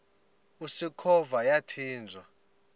usikhova yathinjw a